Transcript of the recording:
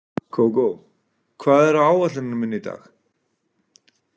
Kókó, hvað er á áætluninni minni í dag?